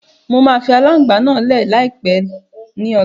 Ń ó fii alàngbà náà lẹ̀ láti pá ni ọ̀la